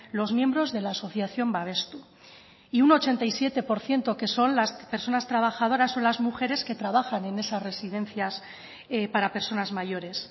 los miembros de la asociación babestu y un ochenta y siete por ciento que son las personas trabajadoras o las mujeres que trabajan en esas residencias para personas mayores